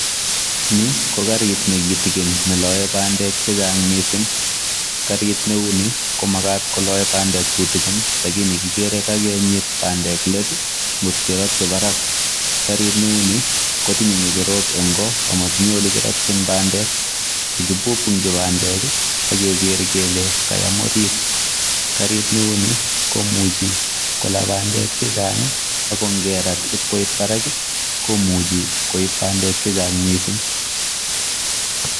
Ni ko garit nekitigin below bandek chechang missing, garit neuni komagat koloe bandek tutigin lakini kigere kakinyiit bandek leet i,kagirotyi barak. Garit neuni kotinye ngecherok en goo ak motinye olekirotyiin bandek. Kindo bandek ak kegeger kele kayaam orrit, so garit neuni komuchi kolaa bandek chechang ako ingerat en barak I komuch koib bandek chechang missing.